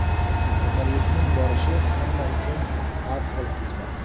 Kasallikning borishi hamma uchun har xil kechmoqda.